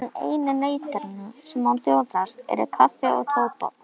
En einu nautnirnar sem honum bjóðast eru kaffi og tóbak.